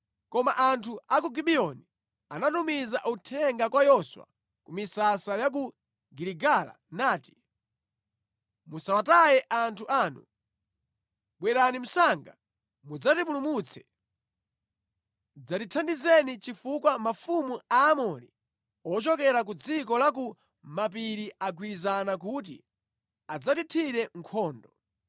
Koma anthu a ku Gibiyoni anatumiza uthenga kwa Yoswa ku misasa ya ku Giligala nati, “Musawataye anthu anu! Bwerani msanga mudzatipulumutse! Dzatithandizeni chifukwa mafumu a Aamori ochokera ku dziko la ku mapiri agwirizana kuti adzatithire nkhondo.”